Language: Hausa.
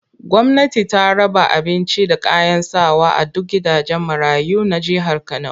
Gwamnati ta raba abincin da kayan sawa a duk gidajen marayu na jihar Kano